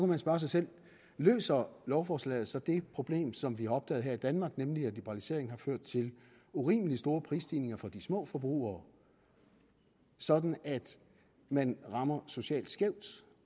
man spørge sig selv løser lovforslaget så det problem som vi har opdaget her i danmark nemlig at liberaliseringen har ført til urimelig store prisstigninger for de små forbrugere sådan at man rammer socialt skævt